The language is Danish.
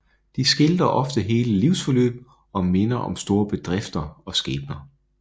De skildrer ofte hele livsforløb og minder om store bedrifter og skæbner